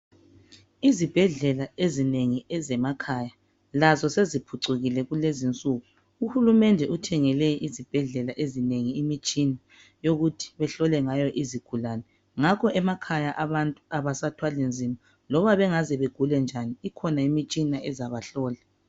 Izibhedlela ezinengi ezamakhaya lazo seziphucukile kulezi nsuku uhulumende uthengele izibhedlela ezinengi imitshina yokuthi bahlole ngayo izigulani ngakho emakhaya abantu abasathwali nzima loba bengaze bagule njani ikhona imitshina ezabahlola